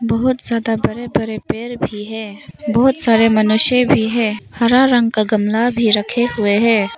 बहुत ज्यादा बड़े बड़े पर भी है बहुत सारे मनुष्य भी है हरा रंग का गमला भी रखे हुए हैं।